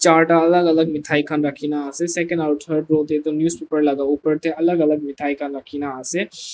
Charta alak alak methai khan rakhina ase second aro third row dae toh newspaper la upor dae alak alak methai khan rakhina ase.